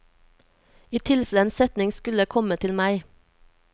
I tilfelle en setning skullekomme til meg.